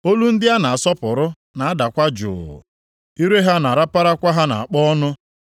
olu ndị a na-asọpụrụ na-adakwa jụụ, ire ha na-araparakwa ha nʼakpo ọnụ.